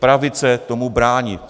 Pravice tomu brání.